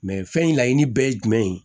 Mɛ fɛn in laɲini bɛɛ ye jumɛn ye